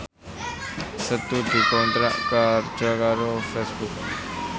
Setu dikontrak kerja karo Facebook